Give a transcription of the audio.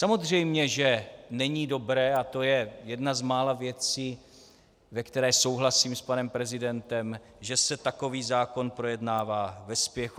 Samozřejmě že není dobré, a to je jedna z mála věcí, ve které souhlasím s panem prezidentem, že se takový zákon projednává ve spěchu.